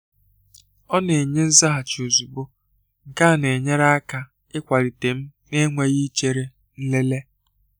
Ọna-enye nzaghachi ozugbo, nke a na-enyere aka ịkwalite m na-enweghị ichere nlele.